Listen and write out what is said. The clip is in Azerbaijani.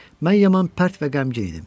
Mən yaman pərt və qəmgin idim.